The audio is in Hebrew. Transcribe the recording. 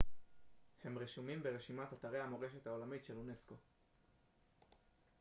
הם רשומים ברשימת אתרי המורשת העולמית של אונסק ו